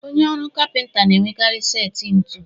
Onye ọrụ kapịnta na-enwekarị setị ntu